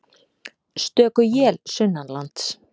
Stöku él sunnanlands